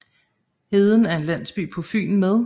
Heden er en landsby på Fyn med